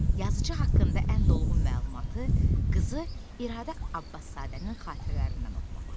Yazıçı haqqında ən dolğun məlumatı qızı İradə Abbaszadənin xatirələrindən oxumaq olar.